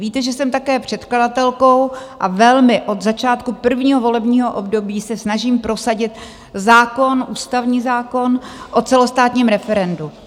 Víte, že jsem také předkladatelkou a velmi od začátku prvního volebního období se snažím prosadit zákon, ústavní zákon o celostátním referendu.